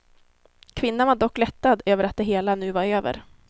Kvinnan var dock lättad över att det hela nu var över.